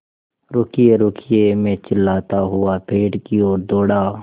रुकिएरुकिए मैं चिल्लाता हुआ पेड़ की ओर दौड़ा